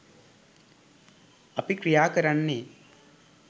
අපි ක්‍රියා කරන්නේ.